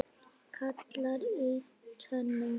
gallar í tönnum